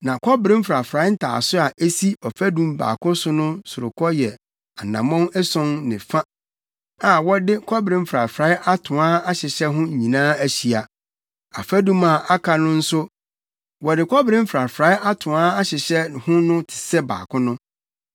Na kɔbere mfrafrae ntaaso a esi ɔfadum baako so no sorokɔ yɛ anammɔn ason ne fa a, wɔde kɔbere mfrafrae atoaa ahyehyɛ ho nyinaa ahyia. Afadum a aka no nso a wɔde kɔbere mfrafrae atoaa ahyehyɛ ho no te sɛ baako no.